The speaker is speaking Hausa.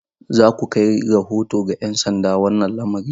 Za ku kai rahoto ga 'yan sanda wannan lamarin?